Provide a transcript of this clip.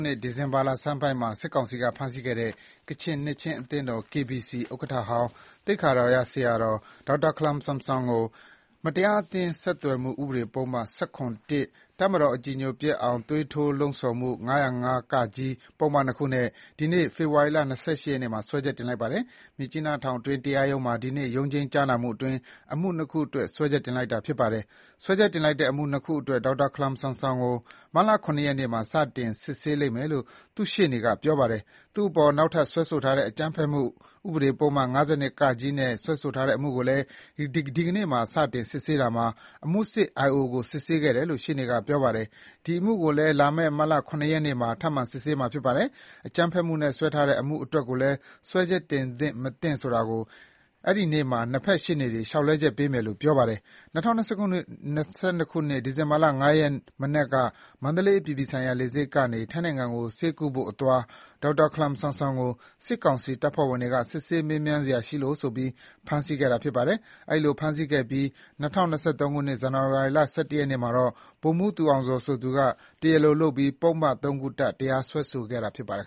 နှစ် ဒီဇင်ဘာလဆန်းပိုင်းမှာ စစ်ကောင်စီက ဖမ်းဆီးခဲ့တဲ့ ကချင်နှစ်ခြင်းအသင်းတော် (KBC) ဥက္ကဋ္ဌဟောင်း သိက္ခာတော်ရ ဆရာတော် ဒေါက်တာခလမ်ဆမ်ဆွန်ကို မတရားအသင်း ဆက်သွယ်မှုဥပဒေပုဒ်မ ၁၇/၁၊ တပ်မတော်ကိုအကြည်ညိုပျက်အောင် သွေးထိုးလှုံ ဆော်မှု ၅၀၅-က ပုဒ်မနှစ်ခုနဲ့ ဒီနေ့ ဖေဖော်ဝါရီ ၂၈ ရက်မှာ စွဲချက်တင်လိုက်ပါတယ်။ မြစ်ကြီးနားထောင်တွင်းတရားရုံးမှာ ဒီနေ့ ရုံးချိန်းကြားနာမှုအတွင်း အမှု ၂ ခုအတွက် စွဲချက်တင်လိုက်တာဖြစ်ပါတယ်။ စွဲချက်တင်လိုက်တဲ့ အမှု ၂ ခုအတွက် ဒေါက်တာခလမ်ဆမ်ဆွန်ကို မတ်လ ၇ ရက်နေ့မှာ စတင် စစ်ဆေးလိမ့်မယ်လို့ သူ့ရှေ့နေကပြောပါတယ်။ သူ့အပေါ် နောက်ထပ် စွဲဆိုထားတဲ့ အကြမ်းဖက်မှု ဥပဒေပုဒ်မ ၅၂ (က) နဲ့စွဲဆိုထားတဲ့ အမှုကိုလည်း ဒီနေ့မှာ စတင်စစ်ဆေးတာမှာ အမှုစစ် (IO) ကိုစစ်ဆေးခဲ့တယ်လို့ ရှေ့နေက ပြောပါတယ်။ အဲဒီအမှုကိုလည်း လာမယ့် မတ် ၇ ရက်နေ့မှာ ထပ်မံစစ်ဆေးမှာဖြစ်ပါတယ်။ အကြမ်းဖက်မှုနဲ့စွဲထားတဲ့ အမှုအတွက်ကိုလည်း စွဲချက်တင်သင့် မသင့်ဆိုတာ အဲဒီနေ့မှာ ၂ ဖက် ရှေ့နေတွေ လျှောက်လဲချက်ပေးမယ်လို့ ပြောပါတယ်။ ၂၀၂၂ ဒီဇင်ဘာ ၅ ရက်နေ့ မနက်က မန္တလေးအပြည်ပြည်ဆိုင်ရာ လေဆိပ်ကနေ ထိုင်းနိုင်ငံကို ဆေးသွားကုဖို့အသွား ဒေါက်တာခလမ်ဆမ်ဆွမ်ကို စစ်ကောင်စီတပ်ဖွဲ့ဝင်တွေက စစ်ဆေးမေးမြန်းစရာရှိလို့ဆိုပြီး ဖမ်းဆီးခဲ့တာပါ။ အဲဒီလိုဖမ်းဆီးခဲ့ပြီး ၂၀၂၃ ဇန်နဝါရီ ၁၁ရက် မှာတော့ ဗိုလ်မှူးသူအောင်ဇော်ဆိုသူက တရားလိုလုပ်ပြီး ပုဒ်မ ၃ ခုတပ် တရားစွဲခဲ့တာဖြစ်ပါတယ်